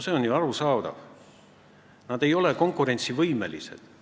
See on ju arusaadav, et nad ei ole konkurentsivõimelised.